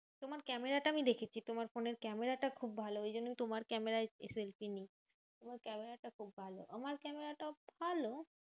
তোমার ক্যামেরাটা আমি দেখেছি তোমার ফোনের ক্যামেরাটা খুব ভালো। ওই জন্য আমি তোমার ক্যামেরায় তোমার ক্যামেরাটা খুব ভালো। আমার ক্যামেরাটাও ভালো